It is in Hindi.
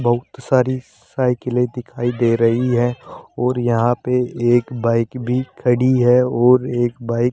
बहुत सारी साइकिलें दिखाई दे रही है और यहां पे एक बाइक भी खड़ी है और एक बाइक --